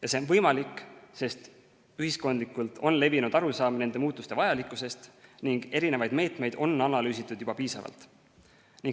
Ja see on võimalik, sest ühiskondlikult on levinud arusaam nende muutuste vajalikkusest ning erinevaid meetmeid on analüüsitud juba piisavalt.